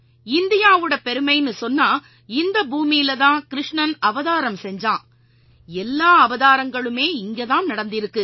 இந்தியாவோட பெருமைன்னு சொன்னா இந்த பூமியில தான் கிருஷ்ணன் அவதாரம்ஞ்சான் எல்லா அவதாரங்களுமே இங்க தான் நடந்திருக்கு